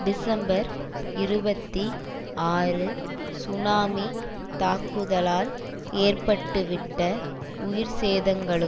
December இருபத்தி ஆறு tsunami தாக்குதலால் ஏற்பட்டுவிட்ட உயிர் சேதங்களும்